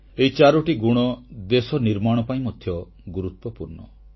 ଏହି ଚାରୋଟି ଗୁଣ ଦେଶ ନିର୍ମାଣ ପାଇଁ ମଧ୍ୟ ଗୁରୁତ୍ୱପୂର୍ଣ୍ଣ